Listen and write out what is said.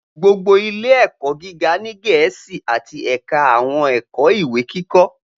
Gbogbo ile-ẹkọ giga ni Gẹẹsi ati ẹka awọn ẹkọ iwe-kikọ